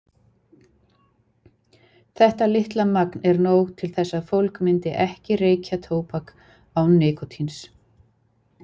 Þetta litla magn er nóg til þess að fólk myndi ekki reykja tóbak án nikótíns.